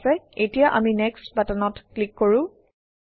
ঠিক আছে এতিয়া আমি নেক্সট বাটনত ক্লিক কৰোঁ